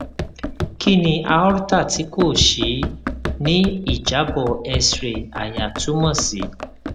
kini aorta ti ko ṣii ni ijabọ x ray àyà tumọ si